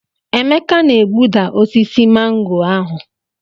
Emeka na egbuda osisi mango ahụ.